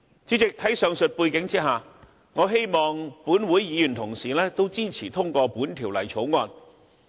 主席，在上述背景下，我希望立法會議員同事亦支持通過《條例草案》。